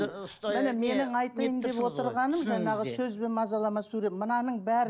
міне менің айтайын деп отырғаным жаңағы сөзбен мазалама мынаның бәрі